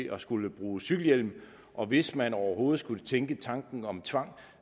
at skulle bruge cykelhjelm og hvis man overhovedet skulle tænke tanken om tvang